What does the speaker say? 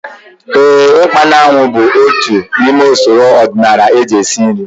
Éè, ikpa na anwụ bụ otu n'ime usoro ọdịnala eji esi nri